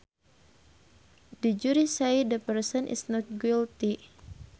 The jury says the person is not guilty